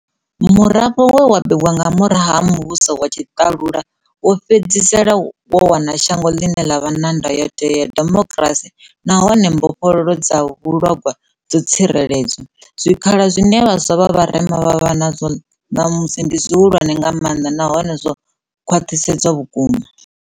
Murafho we wa bebwa nga murahu ha muvhuso wa tshiḽalula wo fhedzisela wo wana shango ḽine ḽa vha na Ndayotewa ya demokirasi na hune mbofholowo dza vhuḽhogwa dzo tsireledzwa. Zwikhala zwine vhaswa vha vharema vha vha nazwo ḽamusi ndi zwihulwane nga maanḽa nahone zwo khwiḽiswa vhukuma.